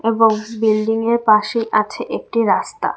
বয়স বিল্ডিংএর পাশে আছে একটি রাস্তা।